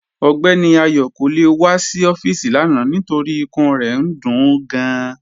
Ọgbẹni Ayo kò le wà sí ọfiisi lána nítorí ìkùn rẹ̀ ń dún ú gáàn